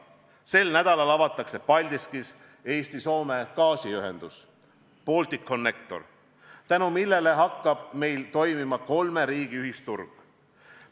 Sel nädalal avatakse Paldiskis Eesti–Soome gaasiühendus Balticconnector, tänu sellele hakkab toimima kolme riigi ühisturg.